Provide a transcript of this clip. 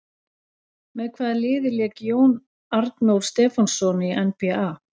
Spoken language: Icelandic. Með hvaða liði lék Jón Arnór Stefánsson í NBA?